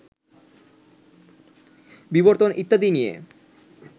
বিবর্তন ইত্যাদি নিয়ে